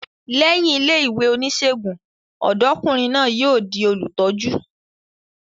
Lẹ́yìn ilé ìwé onísègùn, ọ̀dọ́kùnrin náà yóò di olùtọ́jú